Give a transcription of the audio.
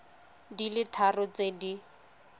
di le tharo tse di